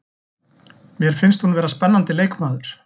Mér finnst hún vera spennandi leikmaður.